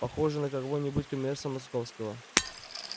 похожий на какого-нибудь коммерса московского